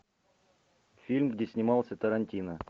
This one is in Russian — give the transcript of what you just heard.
фильм где снимался тарантино